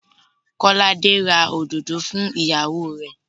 Kọ́láde ra òdòdó fún ìyàwó rẹ̀.